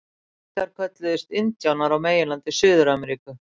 Inkar kölluðust indíánar á meginlandi Suður-Ameríku.